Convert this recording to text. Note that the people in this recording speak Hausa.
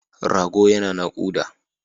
Rago yana naƙuda.